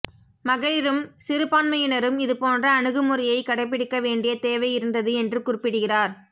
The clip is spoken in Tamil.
மகளிரும் சிறுபான்மையினரும் இதுபோன்ற அணுகுமுறையை கடைப்படிக்க வேண்டிய தேவையிருந்தது என்று குறிப்பிடுகிறார்